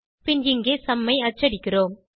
பின் இங்கே சும் ஐ அச்சடிக்கிறோம்